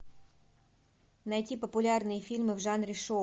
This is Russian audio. найти популярные фильмы в жанре шоу